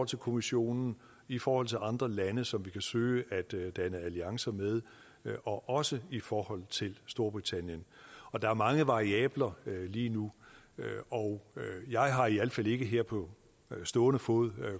til kommissionen i forhold til andre lande som vi kan søge at danne alliancer med og også i forhold til storbritannien der er mange variabler lige nu og jeg har i alt fald ikke her på stående fod